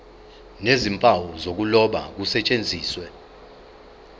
nezimpawu zokuloba kusetshenziswe